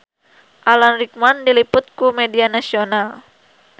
Alan Rickman diliput ku media nasional